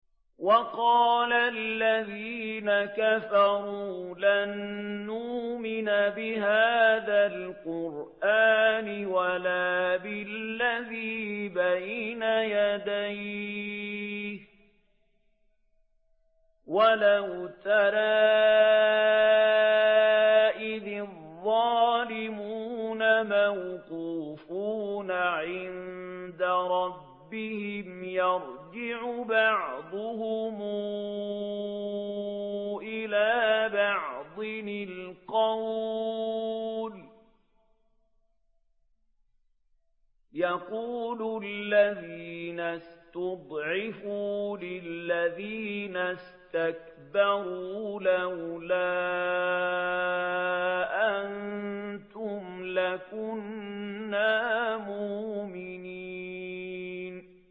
وَقَالَ الَّذِينَ كَفَرُوا لَن نُّؤْمِنَ بِهَٰذَا الْقُرْآنِ وَلَا بِالَّذِي بَيْنَ يَدَيْهِ ۗ وَلَوْ تَرَىٰ إِذِ الظَّالِمُونَ مَوْقُوفُونَ عِندَ رَبِّهِمْ يَرْجِعُ بَعْضُهُمْ إِلَىٰ بَعْضٍ الْقَوْلَ يَقُولُ الَّذِينَ اسْتُضْعِفُوا لِلَّذِينَ اسْتَكْبَرُوا لَوْلَا أَنتُمْ لَكُنَّا مُؤْمِنِينَ